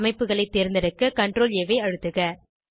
அமைப்புகளை தேர்ந்தெடுக்க ctrlஆ ஐ அழுத்துக